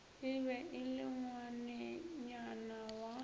be e le ngwanenyana wa